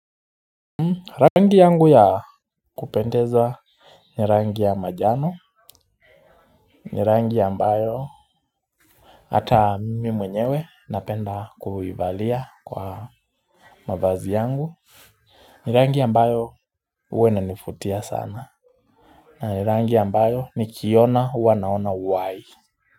Rangi yangu ya kupendeza ni rangi ya manjano, ni rangi ambayo hata mimi mwenyewe napenda kuivalia kwa mavazi yangu, ni rangi ambayo huwa inanivutia sana, na ni rangi ambayo nikiiona huwa naona uhai.